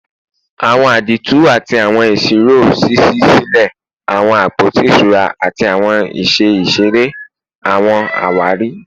Awọn àdììtú ati awọn isiro ṣiṣi silẹ awọn apoti iṣura ati awọn iṣẹ iṣere / awọn awari